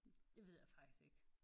Det ved jeg faktisk ikke